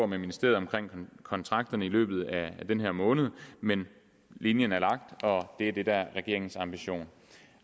med ministeriet om kontrakterne i løbet af den her måned men linjen er lagt og det er det der er regeringens ambition